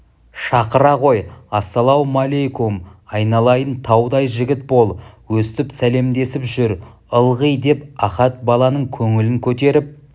шақыра ғой ассалаумалайкөм айналайын таудай жігіт бол өстіп сәлемдесіп жүр ылғи деп ахат баланың көңілін көтеріп